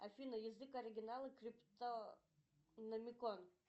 афина язык оригинала криптономикон